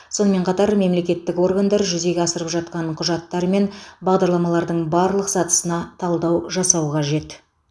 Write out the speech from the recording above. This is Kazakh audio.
сонымен қатар мемлекеттік органдар жүзеге асырып жатқан құжаттар мен бағдарламалардың барлық сатысына талдау жасау қажет